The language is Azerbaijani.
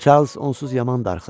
Çarlz onsuz yaman darıxır.